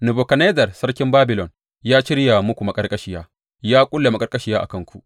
Nebukadnezzar sarkin Babilon ya shirya muku maƙarƙashiya; ya ƙulla maƙarƙashiya a kanku.